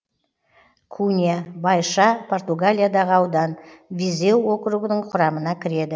кунья байша португалиядағы аудан визеу округінің құрамына кіреді